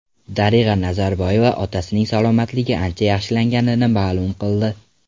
Darig‘a Nazarboyeva otasining salomatligi ancha yaxshilanganini ma’lum qildi .